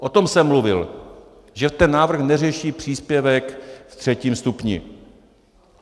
O tom jsem mluvil, že ten návrh neřeší příspěvek ve třetím stupni.